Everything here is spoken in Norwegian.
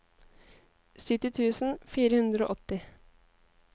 sytti tusen fire hundre og åtti